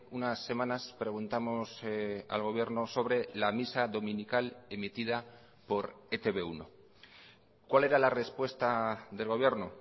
unas semanas preguntamos al gobierno sobre la misa dominical emitida por e te be uno cuál era la respuesta del gobierno